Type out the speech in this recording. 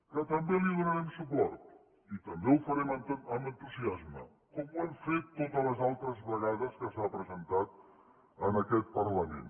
que també hi donarem suport i també ho farem amb entusiasme com ho hem fet totes les altres vegades que s’ha presentat en aquest parlament